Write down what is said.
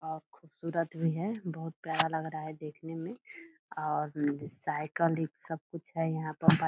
और खूबसूरत भी है बहुत प्यारा लग रहा है देखने में और साईकल इ सब कुछ है यहाँ पर ब --